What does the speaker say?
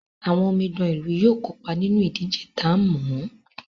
Àwọn omidan ìlú yóò kópa nínú ìdíje ta ń mọ̀ọ́.